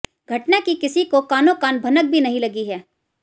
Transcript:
घटना की किसी को कानों कान भनक भी नहीं लगी है